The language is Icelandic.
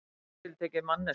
Nánar tiltekið manneskja.